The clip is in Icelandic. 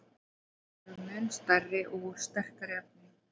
Þær eru mun stærri og úr sterkara efni.